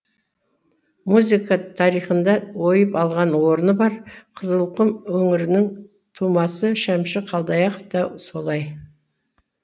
музыка тарихында ойып алған орны бар қызылқұм өңірінің тумасы шәмші қалдаяқов та солай